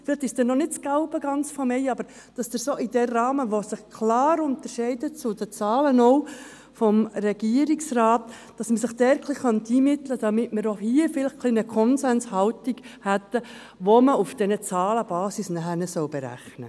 Möglicherweise ist es noch nicht ganz das Gelbe vom Ei – aber es wäre sinnvoll, uns in diesem Rahmen, der sich klar von den Zahlen des Regierungsrats unterscheidet, etwas einmitten zu können, um auch hier zu einer Konsenshaltung zu gelangen, die auf dieser Zahlenbasis berechnet werden soll.